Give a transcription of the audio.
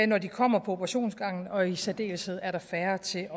når de kommer på operationsgangen og i særdeleshed er der færre til